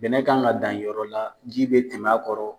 Bɛnɛ kan kan ka danyɔrɔ la ji bɛ tɛmɛ a kɔrɔ.